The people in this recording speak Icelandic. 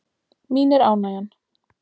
Mín er ánægjan.